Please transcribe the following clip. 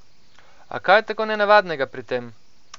A kaj je tako nenavadnega pri tem?